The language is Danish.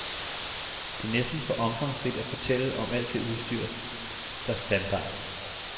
Det er næsten for omfangsrigt at fortælle om alt det udstyr, der standard.